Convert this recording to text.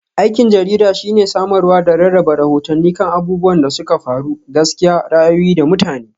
Aikin jarida shine samarwa da rarraba rahotanni kan abubuwan da suka faru, gaskiya, ra'ayoyi, da mutane.